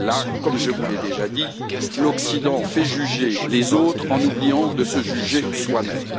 Là, comme je vous l'ai déjà dit, l'Occident fait juger les autres, en oubliant de se juger soi même.